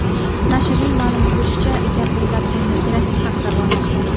Nashrning ma’lum qilishicha, gap o‘nlab tonna kerosin haqida bormoqda.